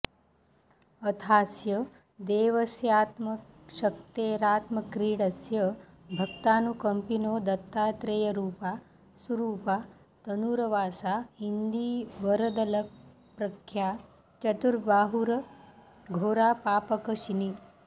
अथास्य देवस्यात्मशक्तेरात्मक्रीडस्य भक्तानुकंपिनो दत्तात्रेयरूपा सुरूपा तनूरवासा इन्दीवरदलप्रख्या चतुर्बाहुरघोरापापकशिनी